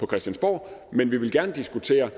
christiansborg men vi vil gerne diskutere